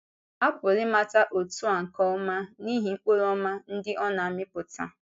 Apụrụ ịmata òtù a nke ọma n’ihi mkpụrụ ọma ndị ọ na-amịpụta.